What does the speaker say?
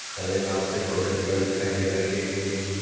हरे घास के छोटे पेड़ दिखाई दे रहे हैं।